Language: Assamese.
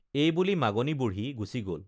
এই বুলি মাগনী বুঢ়ী গুচি গল